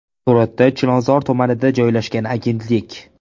Suratda Chilonzor tumanida joylashgan agentlik.